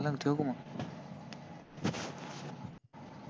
चालन ठेवूका मग